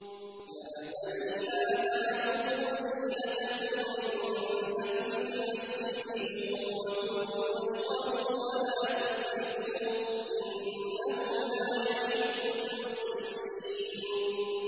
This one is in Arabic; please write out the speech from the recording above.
۞ يَا بَنِي آدَمَ خُذُوا زِينَتَكُمْ عِندَ كُلِّ مَسْجِدٍ وَكُلُوا وَاشْرَبُوا وَلَا تُسْرِفُوا ۚ إِنَّهُ لَا يُحِبُّ الْمُسْرِفِينَ